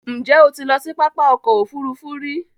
Ǹjẹ́ o ti lọ sí pápá ọkọ̀ òfurufú rí?